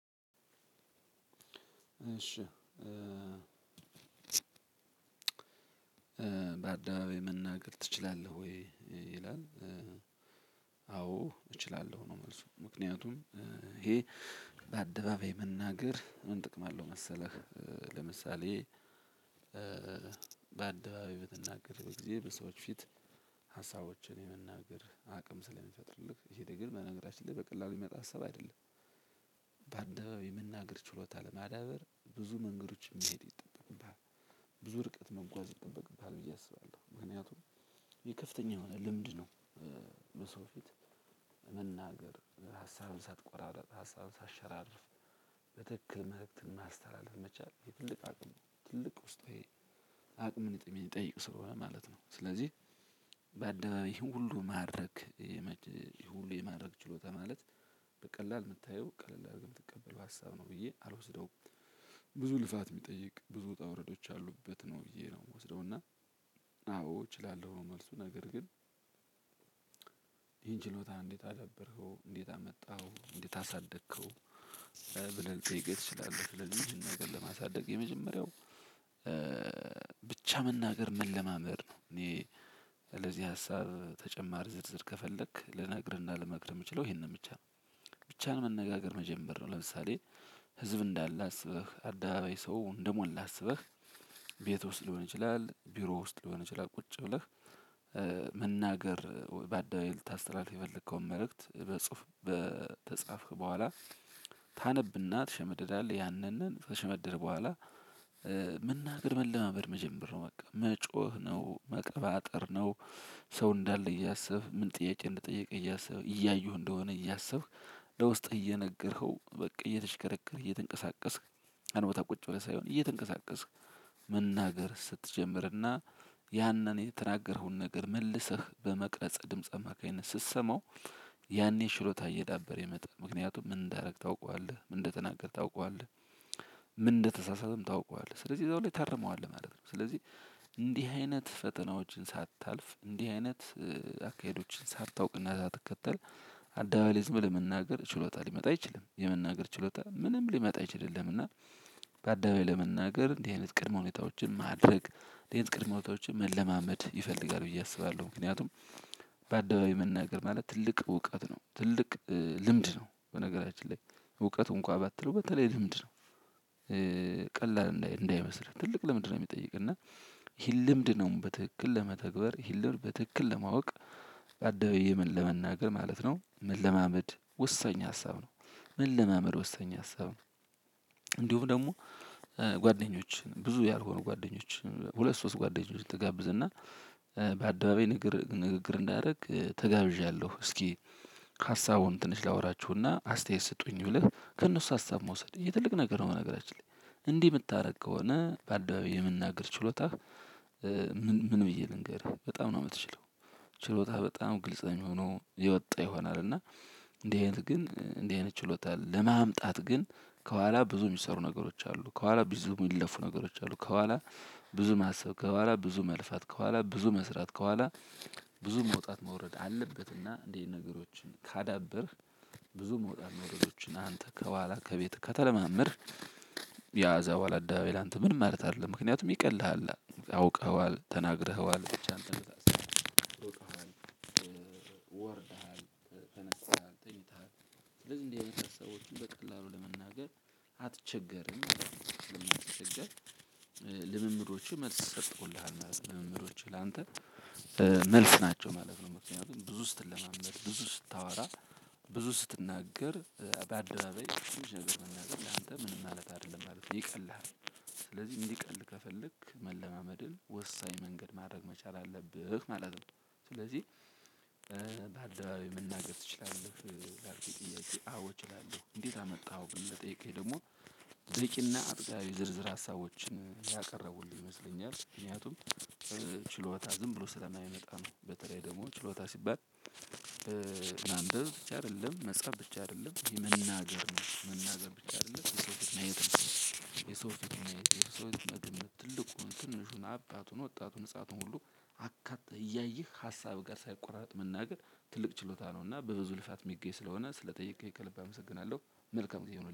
እሺ በአደባባይ መናገር ትችላለህ ወይ ይላል? አዎ እችላለሁ ነው። መልሱ ምክንያቱም ይሄ በአደባባይ መናገር ምን ጥቅም አለው መሰለህ? ለምሳሌ በአደባባይ በምትንገርበት ጊዜ በሰዎች ፊት ሀሳቦችህን የመናገር አቅም ስለመፈጥርልህ ይሄ ደግሞ በናገራችን ላይ በቀላሉ የሚመጣ ሀሳብ አይደለም። ባደባባይ የመናገር ችሎታ ለማዳበር ብዙ መንገዶችን መሄድ ይጠበቅብሃል ብዙ ርቀት መጓዝ ይጠበቅብሃል ብዬ አስባለሁ ምክንያቱም ይህ ከፍተኛ የሆነ ልምድ ነው። በሰዎች ፊት መናገር ሀሳብህን ሳትቆራርጥ ሀሳብህን ሳትሸራርፍ በትክክል መልእክትን ማስተላለፍ መቻል ይህ ትልቅ አቅም ነው። ትልቅ ውስጣዊ አቅምጥ የሚጠይቅ ስለሆነ ማለት ነው። ስለዚህ በአደባባይ ይህን ሁሉ ማድረግ ይሄን ሁሉ የማድረግ ችሎታ ማለት በቀላል የምታየው ቀለል አድርገህ የምትቀበለው ሀሳብ ነው ብዬ አልወስደውም። ብዙ ልፋት የሚጠይቅ ብዙ ውጣ ዉረዶች ያሉበት ነው በየ ነው የምወስደው። እና አዎ እችላለሁ ነው መልሱ። ነገር ግን ይሄን ችሎታህን እንዴት አዳበርከው እንዴት አመጣኸው እንዴት አሳደግከው? ብለህ ልጠይቅህ ትችላለህ ስለዚህ ይህን ነገር ለማሳደግ የመጀመሪያው ብቻ መናገር መለማመድ ነው። እኔ ለዚህ ሀሳብ ተጨማር ዝርዝር ከፈለክ ልነግርህና ልመክርህ የምችለው ይሄንን ብቻ ነው። ብቻህን መነጋገር መጀመር ነው። ለምሳሌ ህዝብ እንዳለ አስበህ አደባባይ ሰው እንደሞላ አስበህ ቤት ውስጥ ሊሆን ይችላል ቢሮ ውስጥ ሊሆን ይችላል ቁጭ ብለህ። መናገር በአደባባይ ልታስተላልፍ የፈለከውን መልእክት ብፅሁፍ ከፃፍህ ቦኋላ ታነብ እና ትሸመድዳለህ ያንን ከሸመደድህ ቦኋላ። መናገር መለማመድ መጀመር ነው በቃ መጮህ ነው መቀባጠር ነው። ሰው እንዳለ እያሰብክ ምን ጥያቄ እንደጠየቀህ እያሰብክ እያዩህ እንደሆነ እያሰብክ ለውስጥህ እየነገርከው በቃ እየተሽከረከርህ እየተንቀሳቀስክ አንቦድ ታ ቁጭ ብለህ ሳይሆን እየተንቀሳቀስክ። መናገር ስትጀምርና ያንን የተናገረከውን ነገር መልሰህ በመቅረጽ ድምጽ አማካኝነት ስትሰማው ያኔ ችሎታህ እየዳበረ ይመጣል። ምክንያቱም ምን እንዳደረግህ ታውቃለህ ምን እንደተናገርህ ታውቀዋለህ። ምን እንደተሳሳተህም ታውቀዋለህ ስለዚህ እዛው ላይ ታርመዋልህ ማለት ነው። ስለዚህ እንዲህ አይነት ፈተናዎችን ሳታልፍ እንዲህ አይነት አካሄዶችን ሳታውቅና ሳትከተል አደባባይ ዝም ብለህ መናገር ችሎታ ሊመጣ አይችልም የመናገር ችሎታ ምንም ሊመጣ አይችልልህም። እና በአደባይ ለመናገር እንዲህ አይነት ቅድመ ሁኔታዎችን ማድረግ እንዲህ አይነት ቅድመ ሁኔታዎችን መለማመድ ይፈልጋል ብዬ አስባለሁ። ምክንያቱም በአደባባይ መናገር ማለት ትልቅ እውቀት ነው ትልቅ ልምድ ነው። በነገራችን ላይ እውቀት እንኳን ባትለው በተለይ ልምድ ነው። ቀላል እንዳይመስልህ ትልቅ ለምንድ ነው የሚጠይቅ እና። ይህን ልምድ ነው በትክክል ለመተግበር ይህንልምድ በትክክል ለማወቅ በአደባባይ ለመናገር ማለት ነው መለማመድ ወሳኝ ሀሳብ ነው። መለማመድ ወሳኝ ሀሳብ ነው። ደግሞ ጓደኞችህን ብዙ ያልሆኑ ጓደኞችህን ሁለት ሶስት ጓደኞችህን ትጋብዝ እና በአደባባይ ንግግር ንግግር እንዳደረግ ተጋብዣለሁ። እስኪ ሀሳቡን ትንሽ ላወራችሁና አስተያየት ስጡኝ ብለህ ከእነሱ ሀሳብ መውሰድ ይሄ ትልቅ ነገር ነው። በነገራችን ላይ እንዲህ የምታደርግ ከሆነ በአደባባይ የመናገር ችሎታህ። ምን ምን ብዬ ልንገርህ በጣም ነው የምትችለው ችሎታ በጣም ግልጽ ነው የሚሆነው የወጣ ይሆናል። እና እንዲህ አይነት ግን እንዲህ አይነት ችሎታ ለማምጣት ግን ከኋላ ብዙ የሚሰሩ ነገሮች አሉ። ከኋላ ብዙ የሚለፉ ነገሮች አሉ። ከኋላ ብዙ ማሰብ ከኋላ ብዙ መልፋት ከኋላ ብዙ መስራት ከኋላ ብዙ መውጣት መውረድ አለበትና እንዲህ አይነት ነገሮችን ካዳበርህ ብዙ መውጣት መውርዶችን አንተ ከኋላ ከቤት ከተለማመድህ። ያ ከዛ በኋላ አደባባይ ላንተ ምንም ማለት አይደለም ምክንያቱም ይቀልሃል አውቀኸዋል ተናግረኸዋል። ወርደሃል ተነስተሃል ተኝተሃል ስለዚህ እንዲህ አይነት ሀሳቦችን በቀላሉ ለመናገር አትቸገርም ማለት ነው። ስለማትቸገር ልምምዶችህ መልስ ሰትጠውልሃል ማለት ነው። ልምምዶችህ ላንተ መልስ ናቸው ማለት ነው። ምክንያቱም ብዙ ስትለማመድ ብዙ ስታወራ ብዙ ስትናገር በአደባባይ ትንሽ ነገር መናገር ለአንተ ምንም ማለት አይደለም ማለት ነው ይቀልሃል። ስለዚህ እንዲቀል ከፈለክ መለማመድን ወሳኝ መንገድ ማድረግ መቻል አለብህ ማለት ነው። ስለዚህ በአደባባይ መናገር ትችላለህ ላልክኝ ጥያቄ አዎ እችላለሁ። እንዴት አመጣኸው ብለህ ለጠየቀኸኝ ደግሞ በቂና አጥጋቢ ዝርዝር ሀሳቦችን ያቀረቡልህ ይመስለኛል። ምክንያቱም ችሎታ ዝም ብሎ ስለማይመጣ ነው። በተለይ ደግሞ ችሎታ ሲባል ማንበብ ብቻ አይደለም መጽሐፍ ብቻ አይደለም የመናገርም ነው። መናገር ብቻ አይደለም የሰው ፊት ማየት ነው። የሰው ፊት ማየት ነው የሰው ፊት መግመት ትልቁን ትንሹን አባቱን ወጣቱን ህፃኑን ሁሉ አካተህ እያየህ ሀሳብ ጋር ሳይቆራጥ መናገር ትልቅ ችሎታ ነው። እና በብዙ ልፋት የሚገኝ ስለሆነ ስለጠየቅኸኝ ከልብ አመሰግናለሁ። መልካም ጊዜ ይሁንልህ